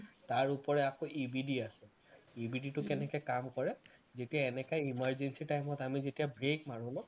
তাৰ ওপৰে আকৌ EBD আছে EBD টো কেনেকে কাম কৰে যেতিয়া এনেকুৱা emergency time ত আমি যেতিয়া brake মাৰো ন